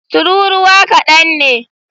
tururuwa kadan ne.